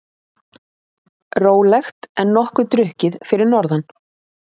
Rólegt en nokkuð drukkið fyrir norðan